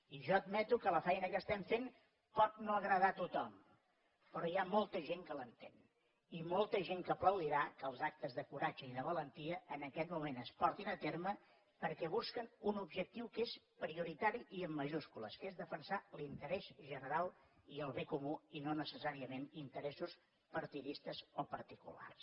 i jo admeto que la feina que estem fent pot no agradar a tothom però hi ha molta gent que l’entén i molta gent que aplaudirà que els actes de coratge i de valentia en aquest moment es portin a terme perquè busquen un objectiu que és prioritari i amb majúscules que és defensar l’interès general i el bé comú i no necessàriament interessos partidistes o particulars